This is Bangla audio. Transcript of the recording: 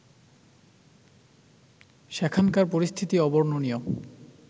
সেখানকার পরিস্থিতি অবর্ণনীয়